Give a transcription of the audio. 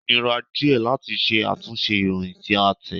Ó nira díẹ̀ láti ṣe àtúnṣe ìròyìn tí a tẹ̀.